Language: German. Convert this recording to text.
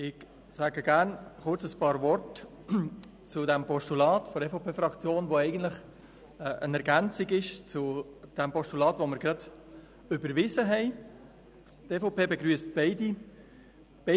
Ich sage gerne kurz einige Worte zu diesem Postulat der EVP-Fraktion, das eigentlich eine Ergänzung zum soeben überwiesenen Postulat ist.